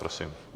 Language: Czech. Prosím.